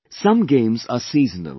Some games are seasonal